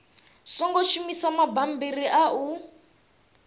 songo shumisa mabammbiri a u